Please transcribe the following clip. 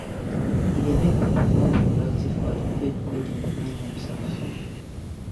E de make pipo more productive for the field wey dem find themselves